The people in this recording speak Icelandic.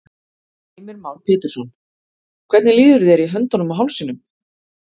Heimir Már Pétursson: Hvernig líður þér í höndunum og hálsinum?